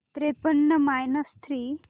त्रेपन्न minus three